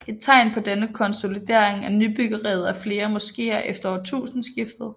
Et tegn på denne konsolidering er nybyggeriet af flere moskeer efter årtusindskiftet